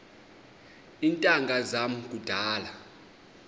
iintanga zam kudala